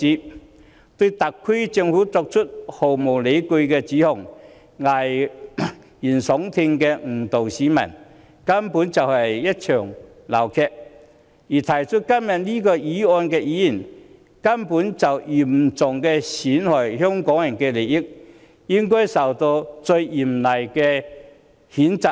他們意圖對特區政府作出毫無理據的指控，危言聳聽地誤導市民，根本就是鬧劇一場，而動議這項議案的議員，根本嚴重損害香港人的利益，應該受到最嚴厲的譴責。